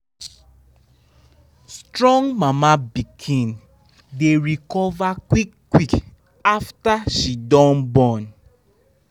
strong mama animal dey recover quick quick after she don born.